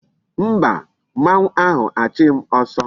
Mba, mmanwu ahu a chughi m oso